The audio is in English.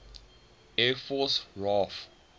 air force raaf